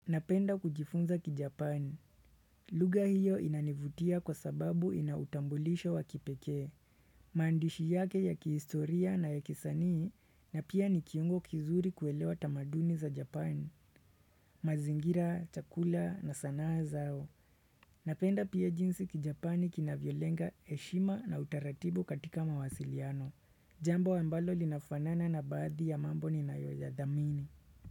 Napenda kujifunza kijapani. Lugha hiyo inanivutia kwa sababu ina utambulisho wa kipekee. Maandishi yake ya kihistoria na ya kisanii na pia ni kiungo kizuri kuelewa tamaduni za japani. Mazingira, chakula na sanaa zao. Napenda pia jinsi kijapani kinavyolenga heshima na utaratibu katika mawasiliano. Jambo ambalo linafanana na baadhi ya mambo ninayoyadhamini.